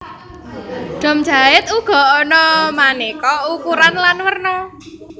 Dom jait uga ana manéka ukuran lan werna